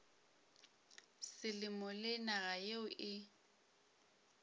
selemo le naga yeo e